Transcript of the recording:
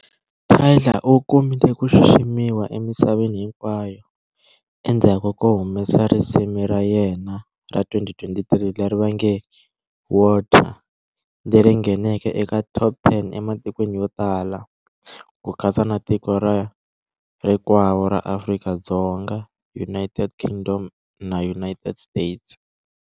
Tyla u kumile ku xiximiwa emisaveni hinkwayo endzhaku ko humesa risimu ra yena ra 2023 leri nge "Water", leri ngheneke eka"top ten" ematikweni yo tala ku katsa na tiko ra rikwavo ra Afrika-Dzonga, United Kingdom na United States.